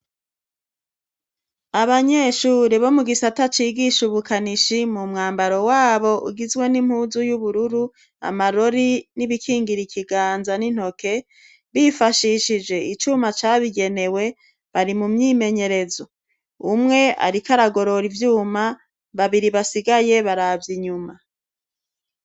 Abanyeshure bo mugisata cigisha ubukanishi mu mwambaro wabo ugizwe n'impuzu y'ubururu amarori n'ibikingira ikiganza n'intoki, bifashishije icuma cabigenewe bari mumyimenyerezo, umwe ariko aragorora ivyuma, babiri basigaye baravye inyuma.